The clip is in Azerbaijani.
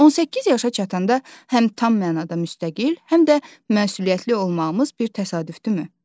18 yaşa çatanda həm tam mənada müstəqil, həm də məsuliyyətli olmağımız bir təsadüfdürmü?